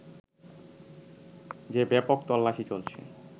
যে ব্যাপক তল্লাশি চলছে